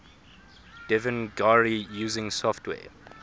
devanagari using software